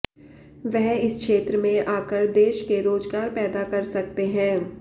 वह इस क्षेत्र में आकर देश के रोजगार पैदा कर सकते हैं